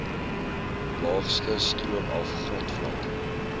laagste stroomaf grondvlak